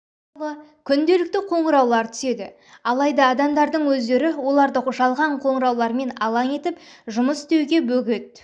туралы күнделікті қоңыраулар түседі алайда адамдардың өздері оларды жалған қоңыраулармен алаң етіп жұмыс істеуге бөгет